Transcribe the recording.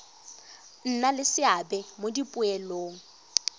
nna le seabe mo dipoelong